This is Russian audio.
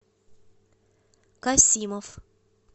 касимов